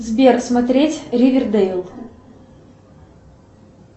сбер смотреть ривердейл